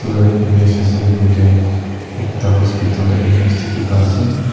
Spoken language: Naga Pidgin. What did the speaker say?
tate image ase koile ekta hospital laa image dekhi paa ase.